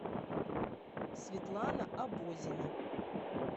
светлана абозина